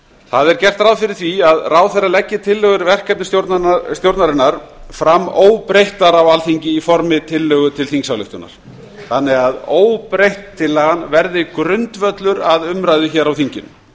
það er gert ráð fyrir því að ráðherra leggi tillögur verkefnisstjórnarinnar fram óbreyttar á alþingi í formi tillögu til þingsályktunar þannig að óbreytt tillagan verði grundvöllur að umræðu á þinginu